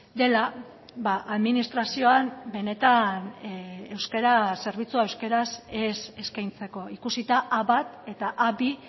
dela administrazioan benetan euskara zerbitzua euskaraz ez eskaintzeko ikusita a bat eta a bi